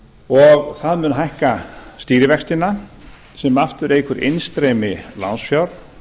og það mun hækka stýrivextina sem aftur eykur innstreymi lánsfjár